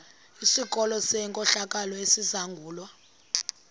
sikolo senkohlakalo esizangulwa